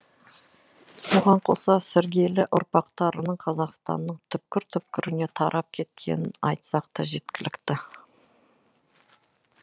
бұған қоса сіргелі ұрпақтарының қазақстанның түкпір түкпіріне тарап кеткенін айтсақ та жеткілікті